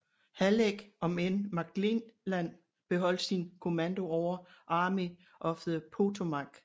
Halleck om end McClellan beholdt sin kommando over Army of the Potomac